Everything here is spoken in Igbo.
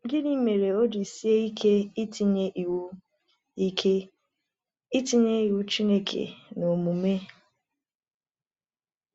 Gịnị mere o ji sie ike itinye iwu ike itinye iwu Chineke n’omume?